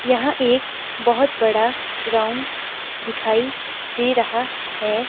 यहां एक बहुत बड़ा ग्राउंड दिखाई दे रहा है।